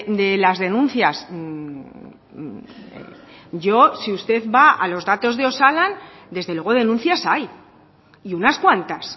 de las denuncias yo si usted va a los datos de osalan desde luego denuncias hay y unas cuantas